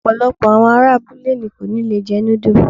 Ọ̀pọ̀lọpọ̀ àwọn ará abúlé ni kò ní lè jẹ núdù.